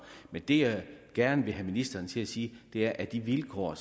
men det jeg gerne vil have ministeren til at sige er at de vilkår